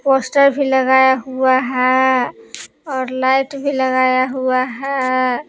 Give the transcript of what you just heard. Poster भी लगाया हुआ है और लाइट भी लगाया हुआ है।